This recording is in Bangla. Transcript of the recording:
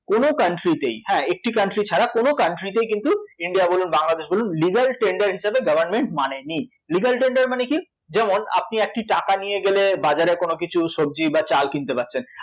কোনো country তেই, হ্যাঁ একটি country ছাড়া কোনো country তেই কিন্তু ইন্ডিয় বলুন, বাংলাদেশ বলুন legal tender হিসেবে government মানেনি legal tender মানে কী? যেমন আপনি একটি টাকা নিয়ে গেলে বাজারে কোনো কিছু সবজি বা চাল কিনতে পারছেন